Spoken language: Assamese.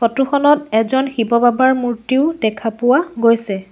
ফটো খনত এজন শিৱ বাবাৰ মূৰ্তিও দেখা পোৱা গৈছে।